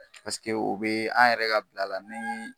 Paseke o be an yɛrɛ ka bila la ni